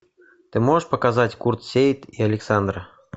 ты можешь показать курт сеит и александра